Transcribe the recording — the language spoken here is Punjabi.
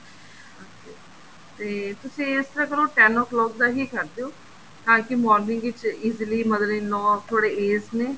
okay ਤੇ ਤੁਸੀਂ ਇਸ ਤਰ੍ਹਾਂ ਕਰੋ ten o clock ਦਾ ਹੀ ਕਰ ਦਿਓ ਤਾਂਕੀ morning ਦੇ ਵਿੱਚ easily mother in law ਥੋੜੇ aged ਨੇ